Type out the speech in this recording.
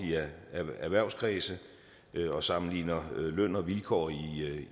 erhvervskredse og sammenligner løn og vilkår